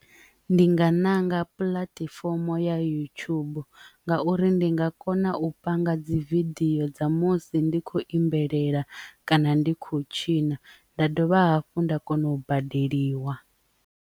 Ndi nga ṋanga puḽatifomo ya yutshubu ngauri ndi nga kona u panga dzi vidio dza musi ndi kho imbelela kana ndi khou tshina nda dovha hafhu nda kona u badeliwa.